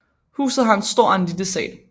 Huset har en stor og en lille sal